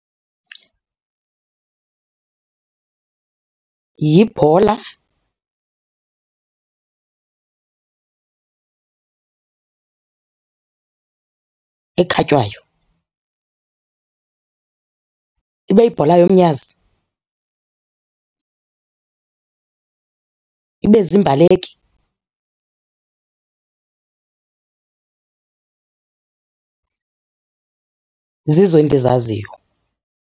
Yibhola ekhatywayo ibe yibhola yomnyazi ibe ziimbaleki. Zizo endizaziyo.